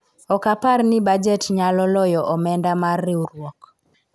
ok apar ni bajet nyalo loyo omenda mar riwruok